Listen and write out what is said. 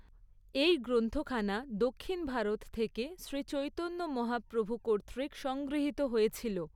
এই গ্রন্থখানা দক্ষিণ ভারত থেকে শ্রী চৈতন্য মহাপ্রভু কর্তৃক সংগৃহীত হয়েছিল।